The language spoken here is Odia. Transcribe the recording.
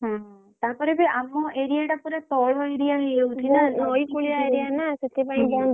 ହଁ ତାପରେ ବି ଆମ area ଟା ପୁରା ତଳ area ହେଇଯାଉଛି ନା ନଇକୂଳିଆ area ନା ସେଇଥିପାଇଁକି ।